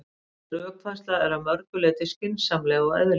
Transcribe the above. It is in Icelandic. Þessi rökfærsla er að mörgu leyti skynsamleg og eðlileg.